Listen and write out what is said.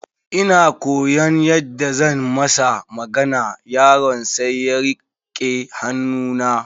Ina koyaon yadda zan masa magana, yaron sai ya rike hannu na.